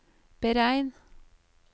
beregn